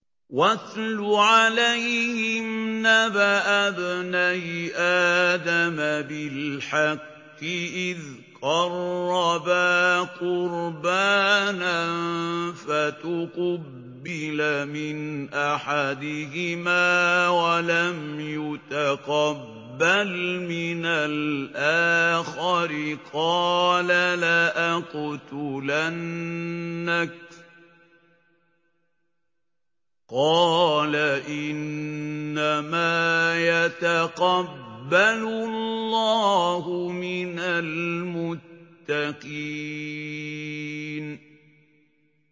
۞ وَاتْلُ عَلَيْهِمْ نَبَأَ ابْنَيْ آدَمَ بِالْحَقِّ إِذْ قَرَّبَا قُرْبَانًا فَتُقُبِّلَ مِنْ أَحَدِهِمَا وَلَمْ يُتَقَبَّلْ مِنَ الْآخَرِ قَالَ لَأَقْتُلَنَّكَ ۖ قَالَ إِنَّمَا يَتَقَبَّلُ اللَّهُ مِنَ الْمُتَّقِينَ